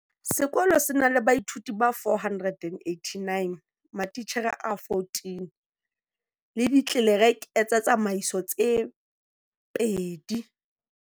Sekolo se na la baithuti ba 489, matitjhere a14, le ditlelereke tsa tsamaiso tse babedi.